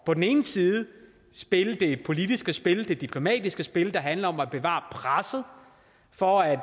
på den ene side at spille det politiske spil det diplomatiske spil der handler om at bevare presset for at